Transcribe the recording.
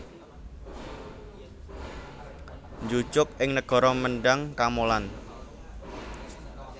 Njujug ing negara Mendhang Kamolan